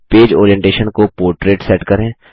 page orientation को portrait set करें